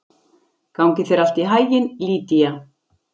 Gangi þér allt í haginn, Lýdía.